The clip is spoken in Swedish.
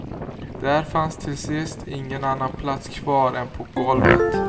Där fanns till sist ingen annan plats kvar än på golvet.